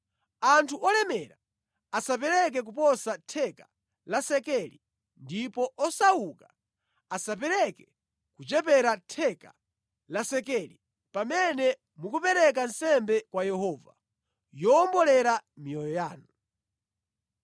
Anthu olemera asapereke koposa theka la sekeli ndipo osauka asapereke kuchepera theka la sekeli pamene mukupereka nsembe kwa Yehova yowombolera miyoyo yanu.